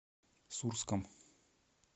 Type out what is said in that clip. сурском